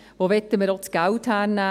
Woher wollten wir das Geld nehmen?